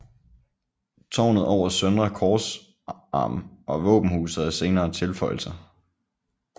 Tårnet over søndre korsarm og våbenhuset er senere tilføjelser